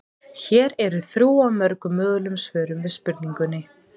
Hér eru þrjú af mörgum mögulegum svörum við spurningunni.